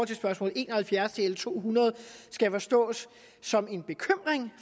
til spørgsmål en og halvfjerds i l to hundrede skal forstås som en bekymring